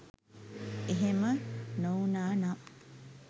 එහෙම නොවුනානම්